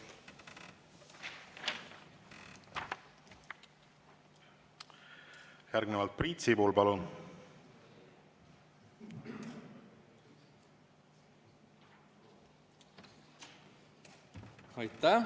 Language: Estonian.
Järgnevalt Priit Sibul, palun!